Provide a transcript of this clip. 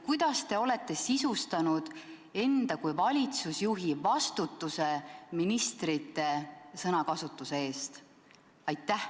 Kuidas te olete sisustanud enda kui valitsusjuhi vastutuse ministrite sõnakasutuse eest?